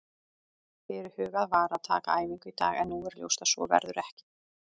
Fyrirhugað var að taka æfingu í dag en nú er ljóst að svo verður ekki.